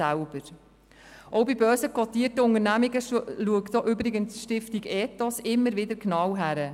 Bei börsenkotierten Unternehmen schaut die Stiftung Ethos immer wieder genau hin.